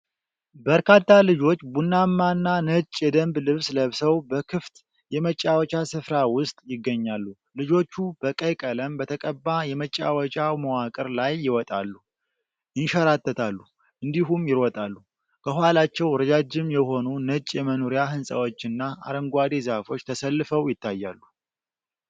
በርካታ ልጆች ቡናማና ነጭ የደንብ ልብስ ለብሰው በክፍት የመጫወቻ ስፍራ ውስጥ ይገኛሉ። ልጆቹ በቀይ ቀለም በተቀባ የመጫወቻ መዋቅር ላይ ይወጣሉ፣ ይንሸራተታሉ እንዲሁም ይሮጣሉ። ከኋላቸው ረጃጅም የሆኑ ነጭ የመኖሪያ ሕንጻዎችና አረንጓዴ ዛፎች ተሰልፈው ይታያሉ።